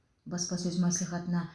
баспасөз мәслихатына